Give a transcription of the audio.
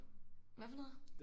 Hvad for noget?